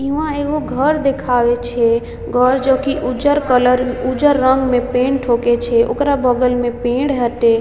इहां एगो घर दिखावे छे घर जो की उज्जर कलर उज्जर रंग में पेंट होके छे ओकरा बगल में पेड़ हते।